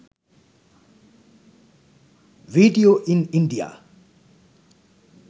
video in india